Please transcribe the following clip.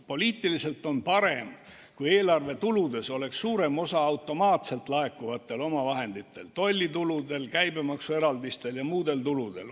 Poliitiliselt on parem, kui eelarvetuludes oleks suurem osa automaatselt laekuvatel omavahenditel, tollituludel, käibemaksueraldistel ja muudel tuludel.